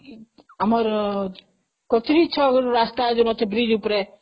ଆମର କଚେରୀ ରାସ୍ତା ଯୋଉ ଅଛି ବ୍ରିଜ ଉପରେ